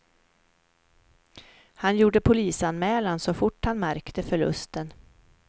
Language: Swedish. Han gjorde polisanmälan så fort han märkte förlusten.